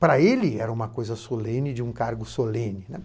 Para ele, era uma coisa solene de um cargo solene, né.